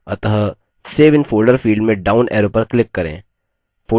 अतः save in folder field में down arrow पर click करें